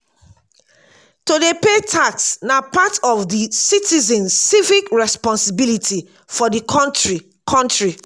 to dey pay tax na part of di citizens civic responsibility for di country country